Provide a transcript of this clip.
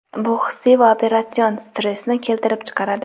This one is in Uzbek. bu hissiy va operatsion stressni keltirib chiqaradi.